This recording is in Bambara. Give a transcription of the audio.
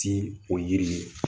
Ti o yiri ye